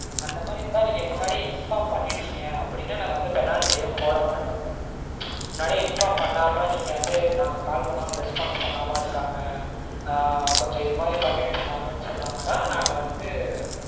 அந்த மாதிரி இருந்தா முன்னாடியே inform பண்ணிட்டீங்க அப்டீனா நாங்க penalty எதுவும் போட மாட்டோம் mam. முன்னாடியே inform பண்ணாம நாங்க வந்து call பண்ணாலும் response பண்ணாம இருக்காங்க ஆஹ் கொஞ்சம் இதுமாதிரி பண்ணிட்டிருந்தாங்கனு சொன்னாங்கனா நாங்க வந்து